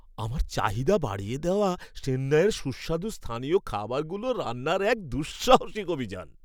আমার চাহিদা বাড়িয়ে দেওয়া চেন্নাইয়ের সুস্বাদু স্থানীয় খাবারগুলো রান্নার এক দুঃসাহসিক অভিযান।